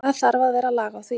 Það þarf að vera lag á því.